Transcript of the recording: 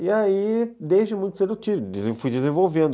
E aí, desde muito cedo, fui desenvolvendo.